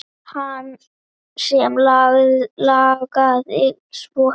Hana sem langaði svo heim.